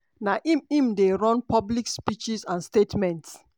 na im im dey run public speeches and statements.